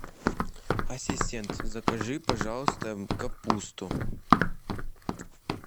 ассистент закажи пожалуйста капусту